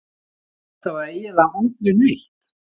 Þetta var eiginlega aldrei neitt.